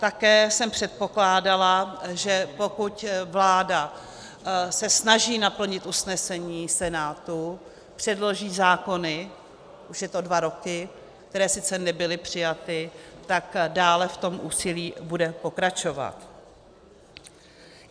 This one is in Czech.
Také jsem předpokládala, že pokud vláda se snaží naplnit usnesení Senátu, předloží zákony - už je to dva roky -, které sice nebyly přijaty, tak dále v tom úsilí bude pokračovat.